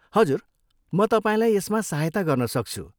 हजुर, म तपाईँलाई यसमा सहायता गर्न सक्छु।